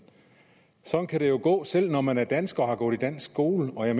sådan kan det jo gå selv når man er dansker og har gået i dansk skole